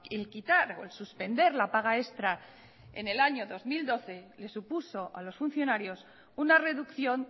el quitar o el suspender la paga extra en el año dos mil doce les supuso a los funcionarios una reducción